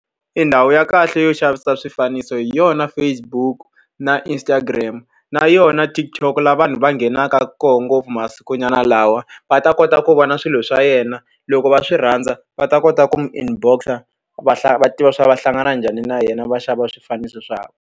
E ndhawu ya kahle yo xavisa swifaniso hi yona Facebook na Instagram na yona TikTok laha vanhu va nghenaka kona ngopfu masikunyana lawa. Va ta kota ku vona swilo swa yena, loko va swi rhandza va ta kota ku n'wi inbox-a va va tiva leswaku va hlangana njhani na yena, va xava swifaniso .